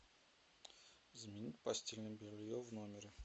заменить постельное белье в номере